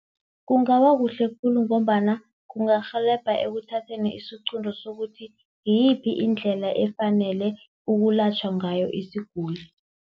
Kungaba kuhle khulu ngombana kungarhelebha ekuthatheni isiqunto sokuthi, ngiyiphi indlela efanele ukulatjhwa ngayo isiguli.